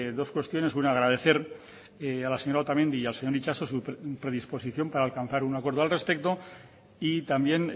dos cuestiones una agradecer a la señora otamendi y al señor itxaso su predisposición para alcanzar un acuerdo al respecto y también